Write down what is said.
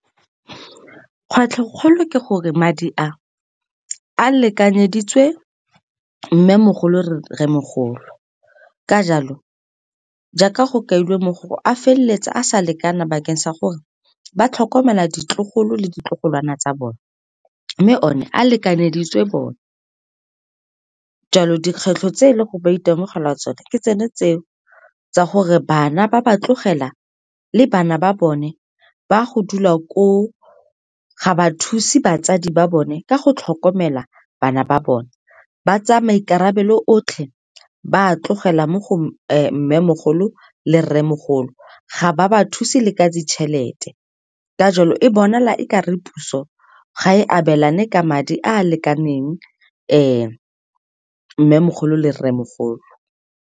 Kgwetlhokgolo ke gore madi a, a lekanyeditswe mmemogolo, rremogolo. Ka jalo, jaaka go kailwe mo go a feleletse a sa lekana bakeng sa gore ba tlhokomele ditlogolo le ditlogolwana tsa bone, mme o ne a lekanyeditswe bone. Jalo, dikgwetlho tse leng gore ba itemogela tsone, ke tsone tse o tsa gore bana ba ba tlogela le bana ba bone ba go dula koo, ga ba thuse batsadi ba bone ka go tlhokomela bana ba bone. Ba tsaya maikarabelo otlhe, ba a tlogela mo go mmemogolo le rremogolo, ga ba ba thuse le ka ditšhelete. Ka jalo, e bonala e kare puso ga e abelane ka madi a a lekaneng mmemogolo le rremogolo.